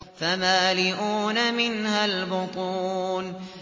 فَمَالِئُونَ مِنْهَا الْبُطُونَ